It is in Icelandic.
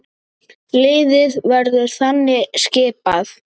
Liðið verður þannig skipað